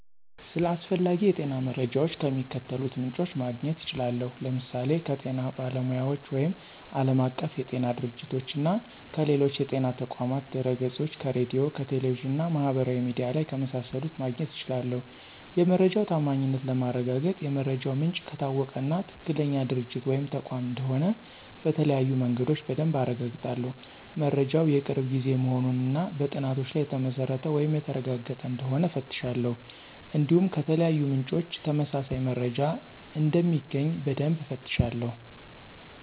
ስለ አስፈላጊ የጤና መረጃዎች ከሚከተሉት ምንጮች ማግኘት እችላለሁ፦ ለምሳሌ ከጤና ባለሙያዎች ወይም ዓለም አቀፍ የጤና ድርጅቶች - (WHO)፣ እና ከሌሎች የጤና ተቋማት ድህረገጾች፣ ከሬዲዮ፣ ከቴሌቪዥን እና ማህበራዊ ሚዲያ ላይ ከመሳሰሉት ማግኘት እችላለሁ። የመረጃው ታማኝነት ለማረጋገጥ የመረጃው ምንጭ ከታወቀ እና ትክክለኛ ድርጅት ወይም ተቋም እንደሆነ በተለያዩ መንገዶች በደንብ አረጋግጣለሁ። መረጃው የቅርብ ጊዜ መሆኑን እና በጥናቶች ላይ የተመሰረተ ወይም የተረጋገጠ እንደሆነ እፈትሻለሁ። እንዲሁም ከተለያዩ ምንጮች ተመሳሳይ መረጃ እንደሚገኝ በደንብ እፈትሻለሁ።